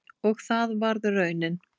Og það varð raunin.